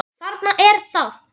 Þarna er það!